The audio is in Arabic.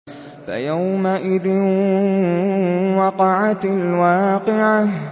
فَيَوْمَئِذٍ وَقَعَتِ الْوَاقِعَةُ